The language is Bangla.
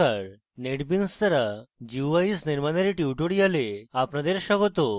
নমস্কার netbeans দ্বারা guis নির্মানের tutorial আপনাদের স্বাগত